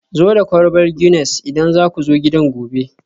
zo da kwalbar Guinness idan za ku zo gidan gobe